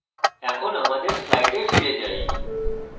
এখন আমাদের slides ফিরে যাই